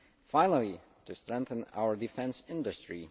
Finally, to strengthen our defence industry.